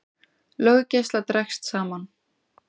Löggæsla dregst saman